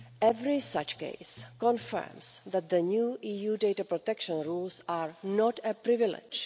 Every such case confirms that the new EU data protection rules are not a privilege.